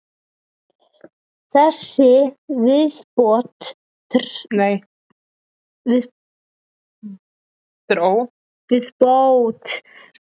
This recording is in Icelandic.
Þessi viðbót tryggir Hitaveitu Akureyrar nægilegt vatn um nánustu framtíð.